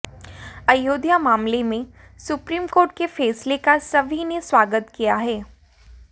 अयोध्या मामले में supreme court के फैसले का सभी ने स्वागत किया है